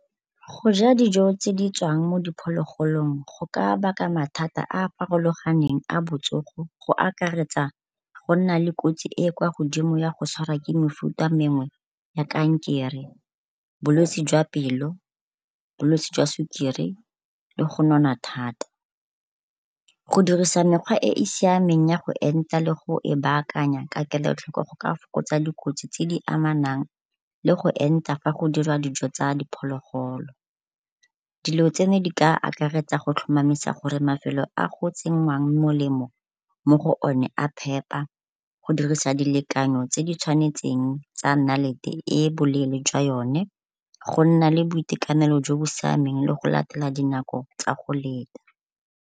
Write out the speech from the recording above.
Go ja dijo tse di tswang mo diphologolong go ka baka mathata a a farologaneng a botsogo go akaretsa go nna le kotsi e e kwa godimo ya go tshwara ke mefuta mengwe ya kankere, bolwetsi jwa pelo, bolwetsi jwa sukiri le go nona thata. Go dirisa mekgwa e e siameng ya go enta le go e baakanya ka kelotlhoko go ka fokotsa dikotsi tse di amanang le go enta go dira dijo tsa diphologolo. Dilo tse ne di ka akaretsa go tlhomamisa gore mafelo a go tsenngwang molemo mo go one a phepa, go dirisa dilekanyo tse di tshwanetseng tsa nnalete e e boleele jwa yone, go nna le boitekanelo jo bo siameng le go latela dinako tsa go leta.